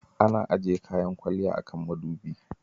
Ana ajiye kayan kwalliya a kan mudubi.